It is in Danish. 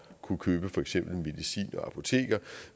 kunne købe for eksempel medicin på apoteker